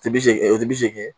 O tɛ bi seegin, o tɛ bi seegin ye.